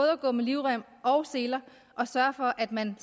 at gå med livrem og seler og sørge for at man